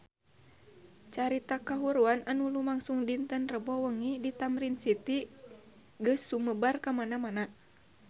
Carita kahuruan anu lumangsung dinten Rebo wengi di Tamrin City geus sumebar kamana-mana